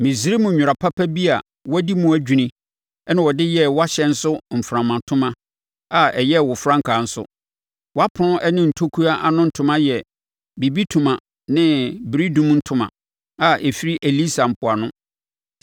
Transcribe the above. Misraim nwera papa bi a wadi mu adwini na wɔde yɛɛ wʼahyɛn so mframatoma a ɛyɛɛ wo frankaa nso; wʼapono ɛne ntokua ano ntoma yɛ bibitoma ne beredumtoma a ɛfiri Elisa mpoano.